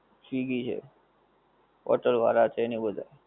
swiggy છે, hotel વાળા છે ને બધાં